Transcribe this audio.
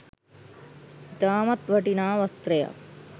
ඉතාමත් වටිනා වස්ත්‍රයක්